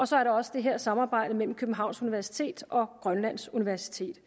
så er der også det her samarbejde mellem københavns universitet og grønlands universitet